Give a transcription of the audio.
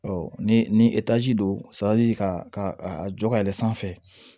ni ni don ka a jɔ ka yɛlɛ sanfɛ